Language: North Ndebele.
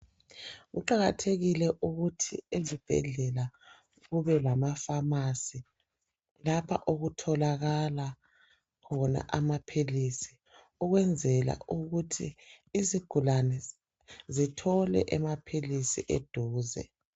Kuqakathekile ukuthi ezibhedlela kube lamafamasi lapha okutholakala khona amaphilisi, ukwenzela ukuthi izigulane zithole emaphilisi eduze.